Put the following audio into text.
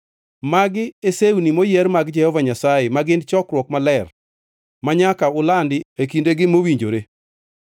“ ‘Magi e sewni moyier mag Jehova Nyasaye, ma gin chokruok maler, manyaka ulandi e kindegi mowinjore.